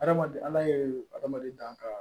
Adamaden ala yɛrɛ hadamaden dan ka